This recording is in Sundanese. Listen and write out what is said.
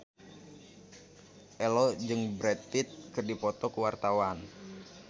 Ello jeung Brad Pitt keur dipoto ku wartawan